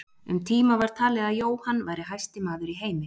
Um tíma var talið að Jóhann væri hæsti maður í heimi.